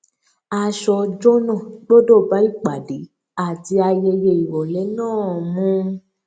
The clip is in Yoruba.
aṣọ ọjọ náà gbọdọ bá ìpàdé àti ayẹyẹ irọlẹ náà mu